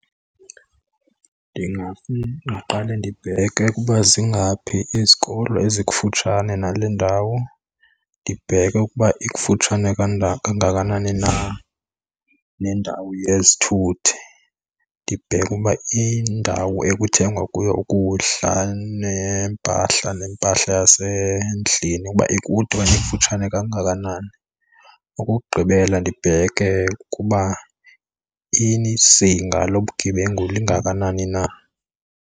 Ndingaqale ndibheke ukuba zingaphi izikolo ezikufutshane nale ndawo. Ndibheke ukuba ikufutshane kangakanani na nendawo yezithuthi. Ndibheke uba indawo ekuthengwa kuyo ukudla neempahla nempahla yasendlini uba ikude okanye ikufutshane kangakanani. Okokugqibela ndibheke ukuba izinga lobugebengu lingakanani na.